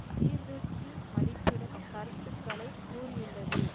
சீர்தூக்கி மதிப்பிடும் கருத்துக்களை கூறியுள்ளது